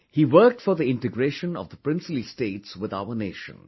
He worked for the integration of the Princely States with our nation